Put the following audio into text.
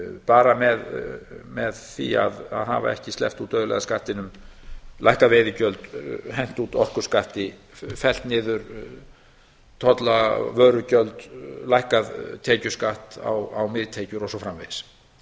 bara með því að hafa ekki sleppt út auðlegðarskattinum lækkað veiðigjöld hent út orkuskatti fellt niður tolla vörugjöld lækkað tekjuskatt á miðtekjur og svo framvegis